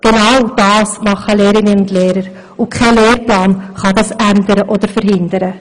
Genau das tun Lehrerinnen und Lehrer, und kein Lehrplan kann das ändern oder verhindern.